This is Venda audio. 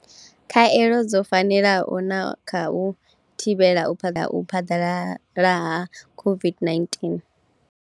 Khaelo dzo fanelaho na kha u thivhela u phaḓalala ha COVID-19.